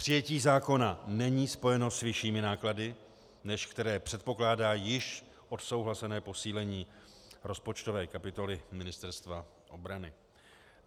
Přijetí zákona není spojeno s vyššími náklady, než které předpokládá již odsouhlasené posílení rozpočtové kapitoly Ministerstva obrany.